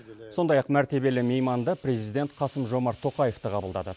сондай ақ мәртебелі мейманды президент қасым жомарт тоқаев та қабылдады